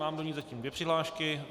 Mám do ní zatím dvě přihlášky.